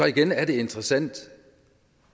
igen er det interessant